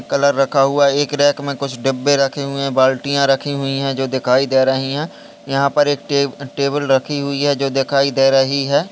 Colour रखा हुआ है एक कैर मे कुछ डब्बे रखे हुए है बाल्टियाँ रखी हुई है जो दिखाई दे रही है यहा पर एक टेब टेबल रखी हुई है जो दिखाई दे रही है।